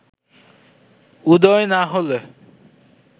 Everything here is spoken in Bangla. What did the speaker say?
উদয় না হলে